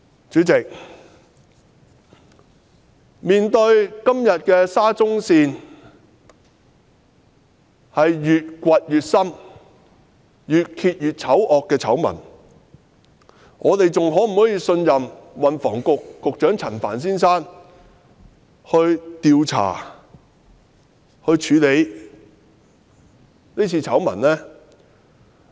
主席，今天面對沙中線越挖越深、越揭越醜惡的醜聞，我們是否仍然能信任運輸及房屋局局長陳帆先生，相信他能調查和處理是次醜聞？